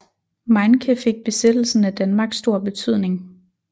Meincke fik besættelsen af Danmark stor betydning